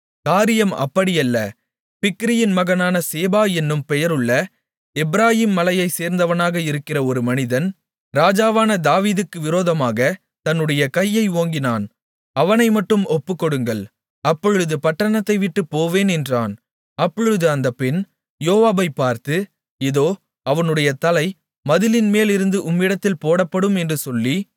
காரியம் அப்படியல்ல பிக்கிரியின் மகனான சேபா என்னும் பெயருள்ள எப்பிராயீம் மலையை சேர்ந்தவனாக இருக்கிற ஒரு மனிதன் ராஜாவான தாவீதுக்கு விரோதமாகத் தன்னுடைய கையை ஓங்கினான் அவனைமட்டும் ஒப்புக்கொடுங்கள் அப்பொழுது பட்டணத்தைவிட்டுப் போவேன் என்றான் அப்பொழுது அந்தப் பெண் யோவாபைப் பார்த்து இதோ அவனுடைய தலை மதிலின்மேலிருந்து உம்மிடத்திலே போடப்படும் என்று சொல்லி